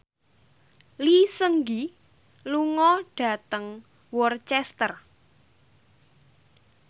Lee Seung Gi lunga dhateng Worcester